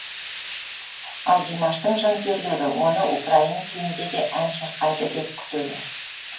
ал димаштың жанкүйерлері оны украин тілінде де ән шырқайды деп күтеді